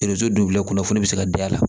kunnafoni bɛ se ka da la